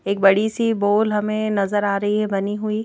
एक बड़ी सी बॉल हमें नजर आ रही है बनी हुई।